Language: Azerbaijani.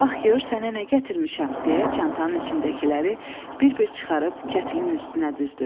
Bax gör sənə nə gətirmişəm, deyə çantanın içindəkiləri bir-bir çıxarıb kətlin üstünə düzdü.